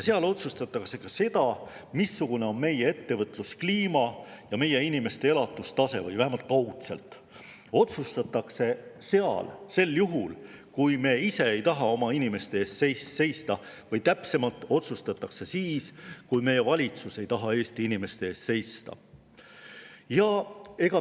Seal otsustatakse ka seda, missugune on meie ettevõtluskliima ja meie inimeste elatustase, seda otsustatakse seal vähemalt kaudselt sel juhul, kui me ise ei taha oma inimeste eest seista, või täpsemalt, seda otsustatakse seal siis, kui meie valitsus ei taha Eesti inimeste eest seista.